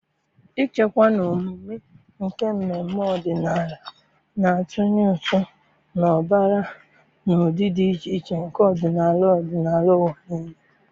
ichekwa na omume nke mmemme ọdịnala, na-atụnye ụtụ na ụbara na ụdị dị iche iche nke ọdịnala ọdịnala n'ụwa niile.